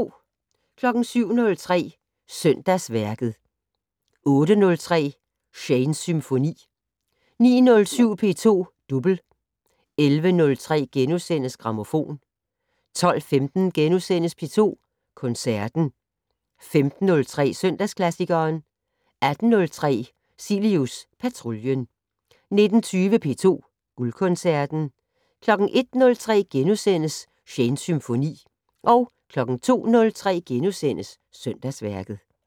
07:03: Søndagsværket 08:03: Shanes Symfoni 09:07: P2 Double 11:03: Grammofon * 12:15: P2 Koncerten * 15:03: Søndagsklassikeren 18:03: Cilius Patruljen 19:20: P2 Guldkoncerten 01:03: Shanes Symfoni * 02:03: Søndagsværket *